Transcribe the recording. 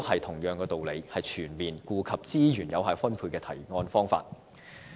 同樣道理，這亦是全面顧及資源有效分配的提案方法。